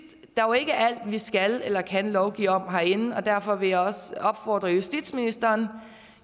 er jo ikke alt vi skal eller kan lovgive om herinde og derfor vil jeg også opfordre justitsministeren